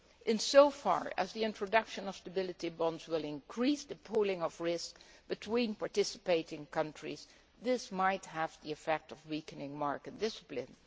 In so far as the introduction of stability bonds will increase the pooling of risk between participating countries, this might have the effect of weakening market discipline.